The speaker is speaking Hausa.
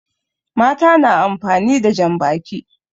Mata na amfani da jan baki